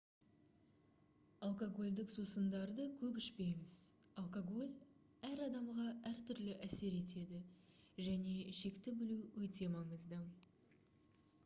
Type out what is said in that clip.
алкогольдік сусындарды көп ішмеңіз алкоголь әр адамға әртүрлі әсер етеді және шекті білу өте маңызды